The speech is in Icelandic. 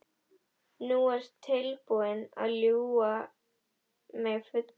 Þú ert búinn að ljúga mig fulla.